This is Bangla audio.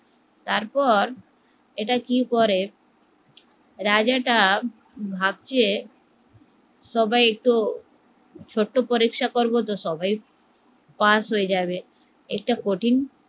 তার পর এটা কি করে রাজাটা ভাবছে সবাই একটু ছোট্ট পরীক্ষা করবো তো সবাই পাস হয়ে যাবে, একটা কঠিন